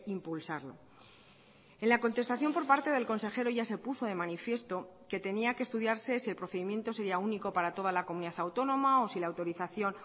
impulsarlo en la contestación por parte del consejero ya se puso de manifiesto que tenía que estudiarse si el procedimiento sería único para toda la comunidad autónoma o si la autorización